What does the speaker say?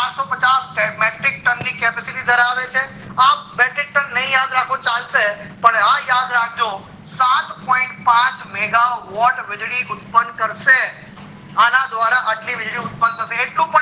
પચાસ metric tan ની capacity ધરાવે છે આ metric tan ની યાદ રાખો ચાલશે પણ આ યાદ રાખજો સાત point પાંચ mega watt વીજળી ઉત્પન કરશે અન દ્વારા એટલી વીજળી ઉત્પન્ન એટલું